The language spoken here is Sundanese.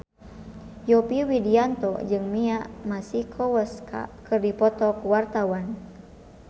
Yovie Widianto jeung Mia Masikowska keur dipoto ku wartawan